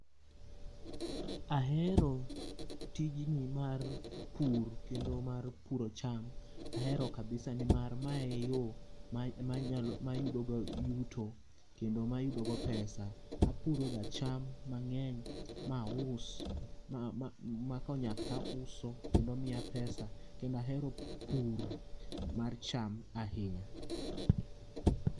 Ahero tijni mar pur kendo mar puro cham, ahero kabisa nimar mae e yo manyalo, mayudo go yuto kendo mayudo go pesa. Apuroga cham mangeny ma aus ma konyak tauso kendo miya pesa kendo ahero pur mar cham ahinya